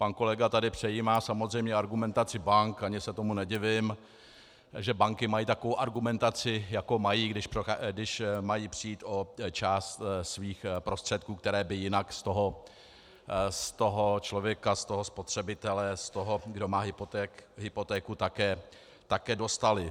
Pan kolega tady přejímá samozřejmě argumentaci bank, ani se tomu nedivím, že banky mají takovou argumentaci, jakou mají, když mají přijít o část svých prostředků, které by jinak z toho člověka, z toho spotřebitele, z toho, kdo má hypotéku, také dostaly.